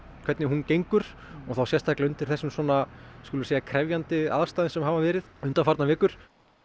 hvernig hún gengur og sérstaklega undir þessum krefjandi aðstæðum sem hafa verið undanfarnar vikur